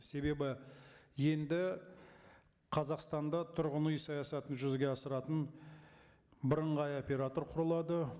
себебі енді қазақстанда тұрғын үй саясатын жүзеге асыратын бірыңғай оператор құрылады